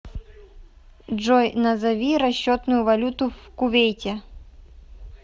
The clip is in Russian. джой назови расчетную валюту в кувейте